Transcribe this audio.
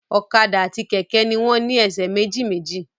Ọ̀kadà àti kẹ̀kẹ́ ni wọ́n ní ẹsẹ̀ méjì méjì